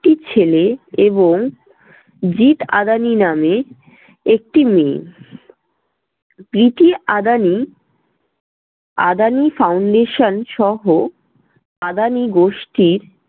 একটি ছেলে এবং জিৎ আদানি নামে একটি মেয়ে আদানি আদানি foundation সহ আদানি গোষ্ঠীর